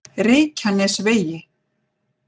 Reykjanesvegi